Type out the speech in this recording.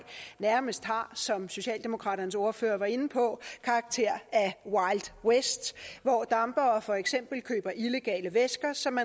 nærmest har som socialdemokraternes ordfører var inde på karakter af wild west hvor dampere for eksempel køber illegale væsker som